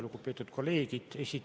Lugupeetud kolleegid!